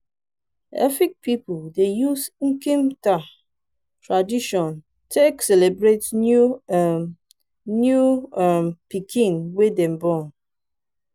efik pipu dey use nkim ita tradition take celebrate new um new um pikin wey dem born.